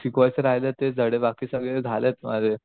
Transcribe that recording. जे शिकवायचं बाकी तेच धडे बाकी सगळे झालेत माझे.